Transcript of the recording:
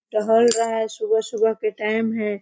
टहल रहा हैं सुबह-सुबह के टाइम है।